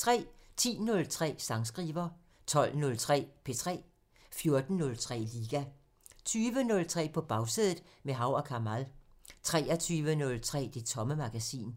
10:03: Sangskriver 12:03: P3 14:03: Liga 20:03: På Bagsædet – med Hav & Kamal 23:03: Det Tomme Magasin